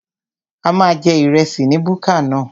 A máa jẹ ìrẹsì ní búkà náà